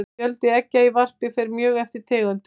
fjöldi eggja í varpi fer mjög eftir tegundum